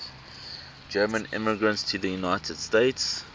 german immigrants to the united states